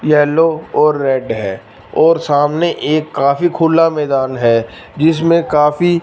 yellow और red है और सामने एक काफी खुला मैदान है जिसमें काफी--